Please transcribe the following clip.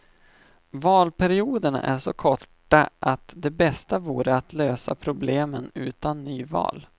Valperioderna är så korta att det bästa vore att lösa problemen utan nyval.